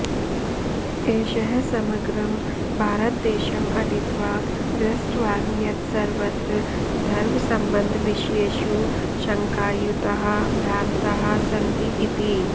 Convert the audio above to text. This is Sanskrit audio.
एषः समग्रं भारतदेशम् अटित्वा दृष्टवान् यत् सर्वत्र धर्वसम्बद्धविषयेषु शङ्कायुताः भ्रान्ताः सन्ति इति